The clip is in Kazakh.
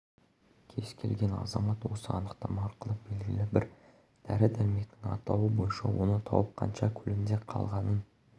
келген азамат осы анықтама арқылы белгілі бір дәрі-дәрмектің атауы бойынша оны тауып қанша көлемде қалғанын